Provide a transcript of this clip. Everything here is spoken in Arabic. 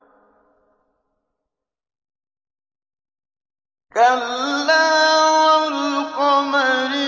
كَلَّا وَالْقَمَرِ